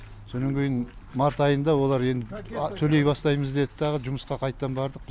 сонан кейін март айында олар енді төлей бастаймыз деді дағы жұмысқа қайттан бардық